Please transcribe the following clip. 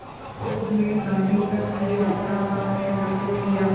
विरोध में दाँडी तक की यात्रा का नेतृत्व किया